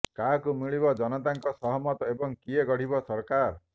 କାହାକୁ ମିଳିବ ଜନତାଙ୍କ ସହମତ ଏବଂ କିଏ ଗଢିବ ସରକାର